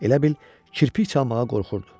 Elə bil kirpik çalamağa qorxurdu.